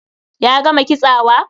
Ya gama kitsawa?